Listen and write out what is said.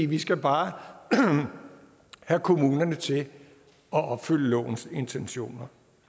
vi skal bare have kommunerne til at opfylde lovens intentioner